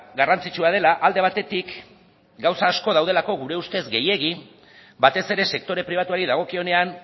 garrantzitsua dela alde batetik gauza asko daudelako gure ustez gehiegi batez ere sektore pribatuari dagokionean